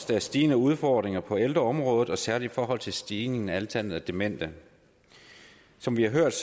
der er stigende udfordringer på ældreområdet særlig i forhold til stigningen i antallet af demente som vi har hørt